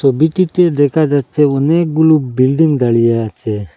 ছবিটিতে দেখা যাচ্ছে অনেকগুলো বিল্ডিং দাঁড়িয়ে আছে।